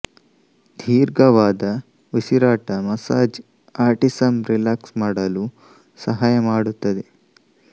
ದೀರ್ಘವಾದ ಉಸಿರಾಟ massage autism relax ಮಾಡಲು ಸಹಾಯ ಮಾಡುತ್ತದೆ